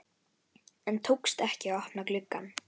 En tókst ekki að opna glugg ann.